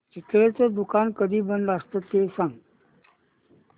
चितळेंचं दुकान कधी बंद असतं ते सांग